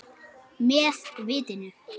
Með vitinu.